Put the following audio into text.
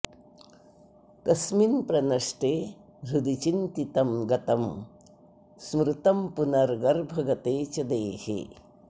तस्मिन्प्रनष्टे हृदि चिन्तितं गतं स्मृतं पुनर्गर्भगते च देहे